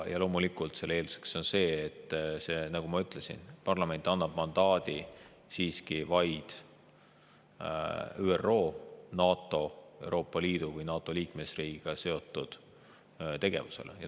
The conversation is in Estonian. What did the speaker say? Ja loomulikult selle eelduseks on see, nagu ma ütlesin, et parlament annab mandaadi siiski vaid ÜRO, NATO, Euroopa Liidu või NATO liikmesriigiga seotud tegevuseks.